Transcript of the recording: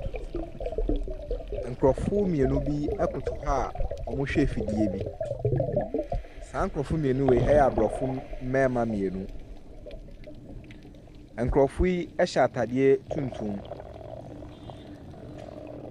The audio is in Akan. Nkurɔfoɔ mmienu bi koto hɔ a wɔrehwɛ afidie bi. Saa nkurɔfoɔ mmienu wei yɛ aborɔfo mmarima aborɔfo mmienu. Nkurɔfoɔ yi hyɛ atade tuntum.